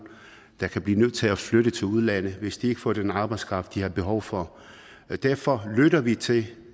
der kan blive nødt til at flytte til udlandet hvis de ikke får den arbejdskraft de har behov for derfor lytter vi til